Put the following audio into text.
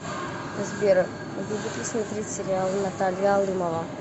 сбер любит ли смотреть сериалы наталья алымова